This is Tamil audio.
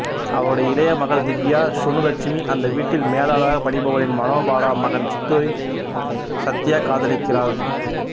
அவருடைய இளைய மகள் திவ்யா சுனு லட்சுமி அந்த வீட்டில் மேலாளராக பணிபுரிபவரின் மனோபாலா மகன் சித்துவைக் சத்யா காதலிக்கிறாள்